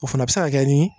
O fana bɛ se ka kɛ ni